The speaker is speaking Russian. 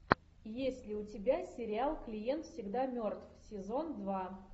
есть ли у тебя сериал клиент всегда мертв сезон два